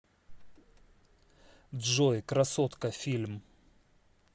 джой красотка фильм